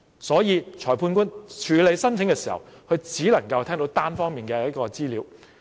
所以，裁判官處理申請的時候，只能夠聽到單方面的資料。